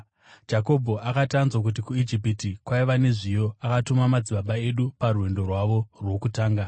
Jakobho akati anzwa kuti kuIjipiti kwaiva nezviyo, akatuma madzibaba edu parwendo rwavo rwokutanga.